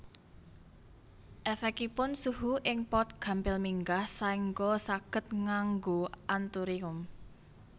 Èfèkipun suhu ing pot gampil minggah saéngga saged nganggu anthurium